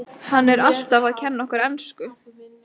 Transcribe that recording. Hann er alltaf að kenna okkur ensku!